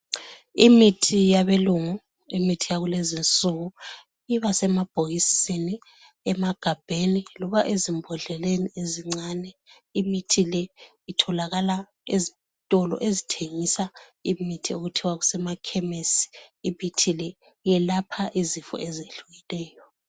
Imithi yabelungu imithi yakulezi insuku iba semabhokisini, emagabheni loba ezimbodleleni ezincane. Imithi le itholakala ezitolo ezithengisa imithi okuthiwa kusema khemisi. Imithi le iyelapha izifo ezehlukeneyo.